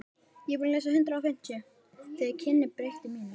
Þau kynni breyttu mínu lífi.